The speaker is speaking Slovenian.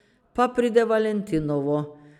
Pa pride valentinovo.